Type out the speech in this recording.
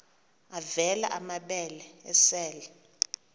avela amabele esel